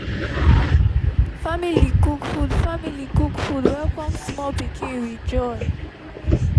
family cook food family cook food welcome small pikin with joy